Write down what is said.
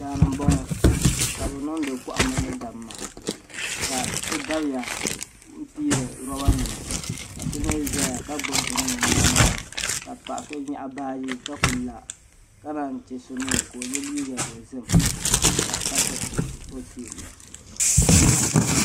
Daani m boŋɔ ka bɛ niŋdi kohamma ni damma ka so dabya piiri loba nima ka so mee zaya ka gbibi bini o nyaanga ka paɣa so nyaɣi baaji ka kuli la ka nanyi che so mee la o ye liiga dozim ka tiriti o kpee.